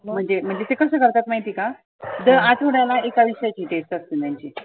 म्हणजे म्हणजे ते कसं करतात महिती आहे का? दर आठवड्याला एका विषयाची test असते त्यांची.